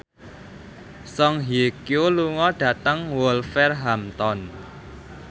Song Hye Kyo lunga dhateng Wolverhampton